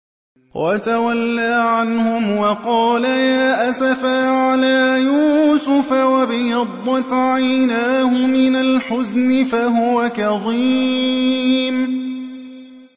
وَتَوَلَّىٰ عَنْهُمْ وَقَالَ يَا أَسَفَىٰ عَلَىٰ يُوسُفَ وَابْيَضَّتْ عَيْنَاهُ مِنَ الْحُزْنِ فَهُوَ كَظِيمٌ